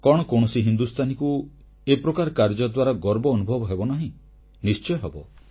କଣ କୌଣସି ହିନ୍ଦୁସ୍ଥାନୀକୁ ଏ ପ୍ରକାର କାର୍ଯ୍ୟ ଦ୍ୱାରା ଗର୍ବ ଅନୁଭବ ହେବନାହିଁ ନିଶ୍ଚୟ ହେବ